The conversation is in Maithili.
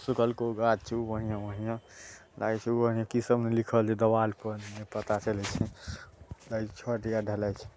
की सब ने लिखल छै दीवार पर